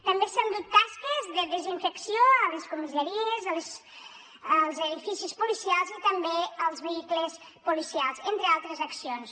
també s’han dut a terme tasques de desinfecció a les comissaries als edificis policials i també als vehicles policials entre altres accions